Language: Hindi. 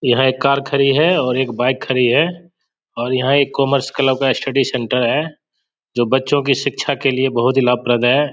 यह एक कार खड़ी है और एक बाइक खड़ी है और यहां एक कॉमर्स क्लब का स्टडी सेंटर है जो बच्चो की शिक्षा के लिए बहुत ही लाभप्रद है।